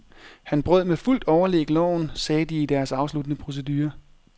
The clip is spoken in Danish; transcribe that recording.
Han brød med fuldt overlæg loven, sagde de i deres afsluttende procedure.